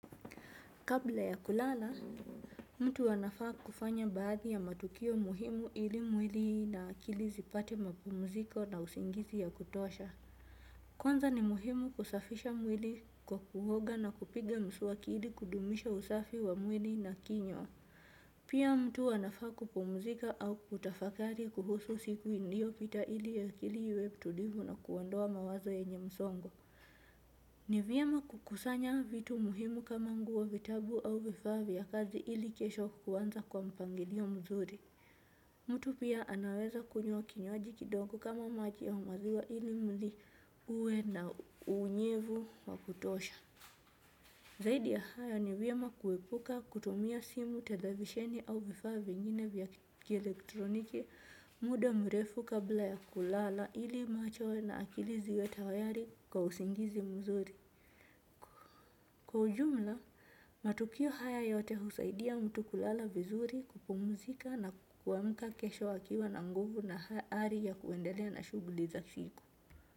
Kabla ya kulala, mtu anafaa kufanya baadhi ya matukio muhimu ili mwili na akili zipate mapumziko na usingizi ya kutosha. Kwanza ni muhimu kusafisha mwili kwa kuhoga na kupiga mswaki ili kudumisha usafi wa mwili na kinywa. Pia mtu anafaa kupumzika au kutafakari kuhusu siku ilio pita ili ya akili iwe tulivu na kuondoa mawazo yenye msongo. Ni vyema kukusanya vitu muhimu kama nguo vitabu au vifaa vya kazi ili kesho kuanza kwa mpangilio mzuri. Mtu pia anaweza kunywa kinywaji kidogo kama maji au maziwa ili mwili uwe na unyevu wakutosha. Zaidi ya haya ni vyema kuwepuka kutumia simu televisheni au vifaa vingine vya kielektroniki muda mrefu kabla ya kulala ili macho na akili ziwe tayari kwa usingizi mzuri. Kwa ujumla, matukio haya yote husaidia mtu kulala vizuri kupumuzika na kuamka kesho akiwa na nguvu na ari ya kuendelea na shuguli za siku.